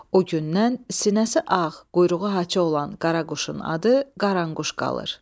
O gündən sinəsi ağ, quyruğu haça olan qaraquşun adı qaranquş qalır.